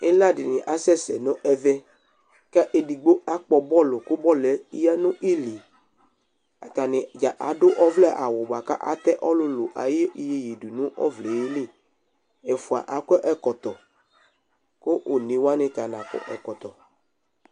Ila dini asɛsɛ nʋ ɛvɛ kʋ edigbo akpɔ bɔlʋ kʋ bɔlʋ yɛ yanʋ ili atadza adʋ ɔvlɛ awʋ dza bʋakʋ ata ɔlʋlʋ ayʋ iyeye dʋnʋ ɔvlɛ yɛ li ɛfʋa akɔ ɛkɔtɔ kʋ enewani ta nakɔ ɛkɔtɔ